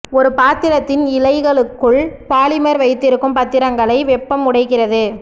ஒரு பாத்திரத்தின் இழைகளுக்குள் பாலிமர் வைத்திருக்கும் பத்திரங்களை வெப்பம் உடைக்கிறது